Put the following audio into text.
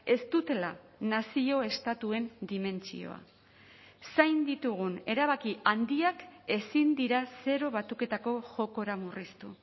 ez dutela nazio estatuen dimentsioa zain ditugun erabaki handiak ezin dira zero batuketako jokora murriztu